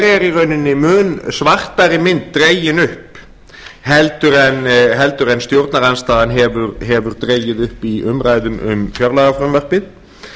er í rauninni mun svartari mynd dregin upp en stjórnarandstaðan hefur dregið upp í umræðum um fjárlagafrumvarpið